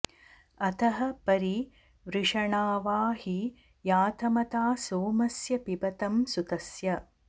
अतः॒ परि॑ वृषणा॒वा हि या॒तमथा॒ सोम॑स्य पिबतं सु॒तस्य॑